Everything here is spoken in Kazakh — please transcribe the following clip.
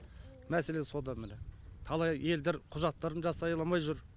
мәселе сода міне талай елдер құжаттарын жасай алмай жүр